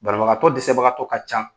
Banabagatɔ dɛsɛbagatɔ ka can.